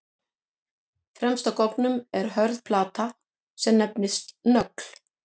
Fremst á goggnum er hörð plata sem nefnist nögl.